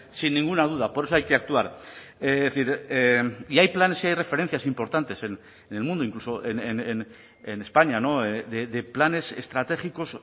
sin ninguna duda por eso hay que actuar es decir y hay planes y hay referencias importantes en el mundo incluso en españa de planes estratégicos